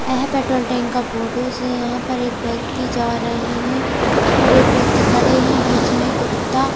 यह petrol tank का photos हैं यहां पर एक व्यक्ति जा रहे हैं और एक व्यक्ति खड़े हैं बीच में कुत्ता--